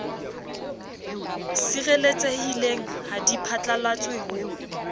sireletsehileng ha di phatlalatswe ho